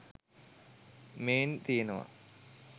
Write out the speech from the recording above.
මේන් තියෙනවා